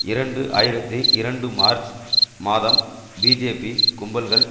இரண்டு ஆயிரத்தி இரண்டு மார்ச் மாதம் பிஜேபி கும்பல்கள்